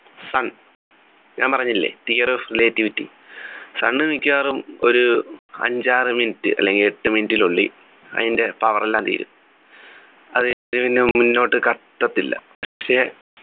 sun ഞാൻ പറഞ്ഞില്ലേ theory of relativity sun മിക്കവാറും ഒരു അഞ്ചാറ് minute അല്ലെങ്കി എട്ടു minute നുള്ളിൽ അതിൻ്റെ power എല്ലാം തീരും അതുപിന്നെ മുന്നോട്ടു കത്തത്തില്ല പക്ഷെ